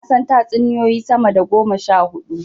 Na san tatsuniyoyi sama da goma sha huɗu.